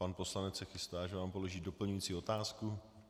Pan poslanec se chystá, že vám položí doplňující otázku.